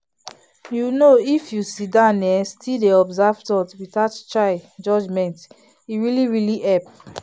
you know if you sit down um still dey observe thoughts without chai judgment e really really help.